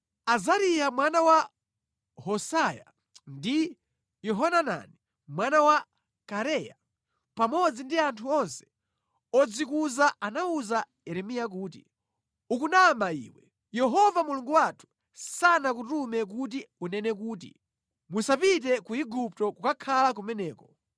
Azariya mwana wa Hosayia ndi Yohanani mwana wa Kareya pamodzi ndi anthu onse odzikuza anawuza Yeremiya kuti, “Ukunama iwe! Yehova Mulungu wathu sanakutume kuti unene kuti, ‘Musapite ku Igupto kukakhala kumeneko.’